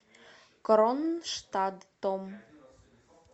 кронштадтом